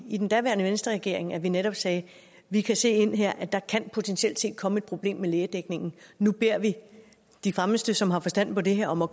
i den daværende venstreregering at vi netop sagde vi kan se her at der potentielt set kan komme et problem med lægedækningen nu beder vi de fremmeste som har forstand på det her om at